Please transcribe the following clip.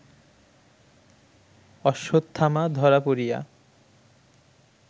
অশ্বত্থামা ধরা পড়িয়া